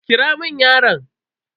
Kira mun yaron.